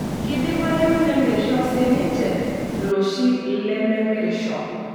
Keidimayu nemirisho siininche loshi lememirisho.